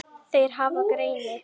Þeir hafa greini